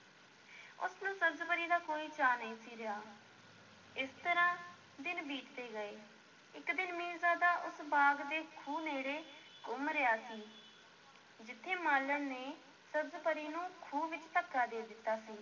ਉਸ ਨੂੰ ਸਬਜ਼-ਪਰੀ ਦਾ ਕੋਈ ਚਾਅ ਨਹੀਂ ਸੀ ਰਿਹਾ, ਇਸ ਤਰ੍ਹਾਂ ਦਿਨ ਬੀਤਦੇ ਗਏ, ਇੱਕ ਦਿਨ ਮੀਰਜ਼ਾਦਾ ਉਸ ਬਾਗ਼ ਦੇ ਖੂਹ ਨੇੜੇ ਘੁੰਮ ਰਿਹਾ ਸੀ ਜਿੱਥੇ ਮਾਲਣ ਨੇ ਸਬਜ਼-ਪਰੀ ਨੂੰ ਖੂਹ ਵਿੱਚ ਧੱਕਾ ਦਿੱਤਾ ਸੀ।